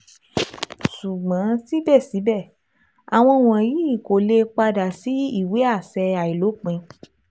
Ṣugbọn sibẹsibẹ, awọn wọnyi ko le pada si iwe aṣẹ ailopin